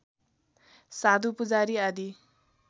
साधु पुजारी आदि